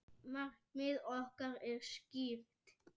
Markmið okkar er skýrt.